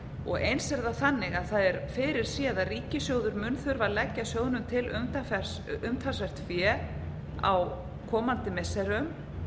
eins er það þannig að það er fyrirséð að ríkissjóður mun þurfa að leggja sjóðnum til umtalsvert fé á komandi missirum